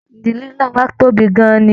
Ìdílé nlá wà tóbi gán-an ní.